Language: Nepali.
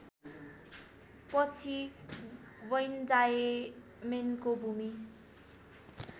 पछि वैन डायमेनको भूमि